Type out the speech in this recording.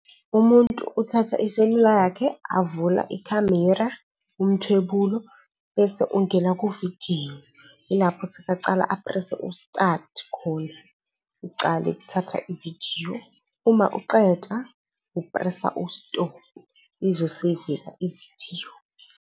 Umuntu uthatha iselula yakhe avula ikhamera, umthwebulo, bese ungena kuvidiyo, yilapho sekacala uku-press-a ustathi khona, icale ukuthatha ividiyo. Uma uqeda u-press-a ustophu izo-save-ka ividiyo.